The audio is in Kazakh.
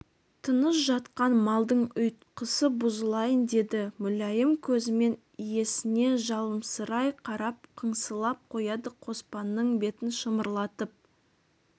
тыныш жатқан малдың ұйтқысы бұзылайын деді мүләйім көзімен иесіне жыламсырай қарап қыңсылап қояды қоспанның бетін шымырлатып